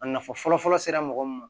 A nafa fɔlɔfɔlɔ sera mɔgɔ min ma